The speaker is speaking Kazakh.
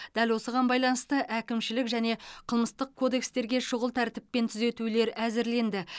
дәл осыған байланысты әкімшілік және қылмыстық кодекстерге шұғыл тәртіппен түзетулер әзірленді